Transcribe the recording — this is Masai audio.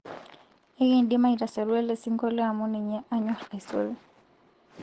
ekindim aitasaru elesingolio amuninye anyor aisul